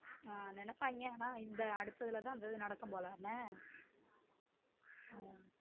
ஹம் நினைப்பாங்க ஆனா இந்த அடுத்த இதுல தான் அந்த இது நடக்கும் போ ஹம்